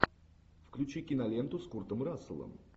включи киноленту с куртом расселом